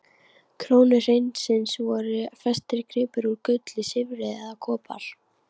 krónu hreinsins voru festir gripir úr gulli, silfri eða kopar.